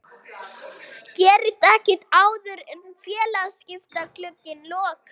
Gerist ekkert áður en félagaskiptaglugginn lokar?